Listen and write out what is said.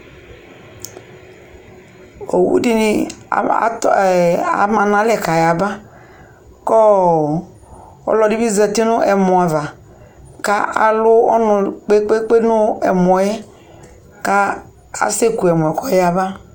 owu di ni atɔ ama no alɛ ko ayaba ko ɔludibi zati no ɛmɔ ava ko alu ɔnu kpekpekpe no ɛmɔ yɛ ko asɛ ku ɛmɔ ko ɔya ba